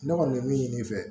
Ne kɔni bɛ min ɲini fɛ